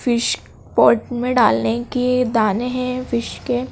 fish pot में डालने के ये दाने हैं फिश के--